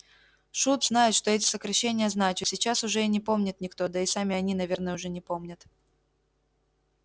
шут знает что эти сокращения значат сейчас уже и не помнит никто да и сами они наверное уже не помнят